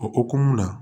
O hokumu na